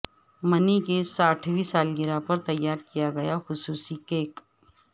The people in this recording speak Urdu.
منی کی ساٹھوی سالگرہ پر تیار کیا گیا خصوصی کیک